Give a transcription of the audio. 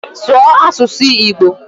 Sụọ asụsụ Igbo!